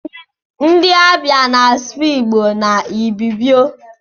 Ndi abia na asụ igbo na ibibio.